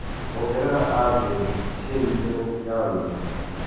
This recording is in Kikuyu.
ongerera andirethi cia i-mīrū ya wĩra